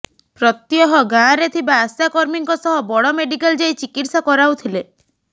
ପ୍ରତ୍ୟହ ଗାଁ ରେ ଥିବା ଆଶା କର୍ମୀଙ୍କ ସହ ବଡ଼ମେଡ଼ିକାଲ ଯାଇ ଚିକିତ୍ସା କରାଉଥିଲେ